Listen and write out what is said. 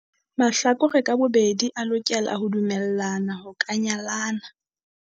Mahlakore ka bobedi a lokela ho dumellana ho ka nyalana.